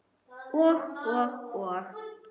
Og, og, og.